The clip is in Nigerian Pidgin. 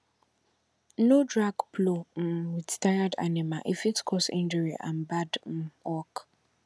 no drag plow um with tired animal e fit cause injury and bad um work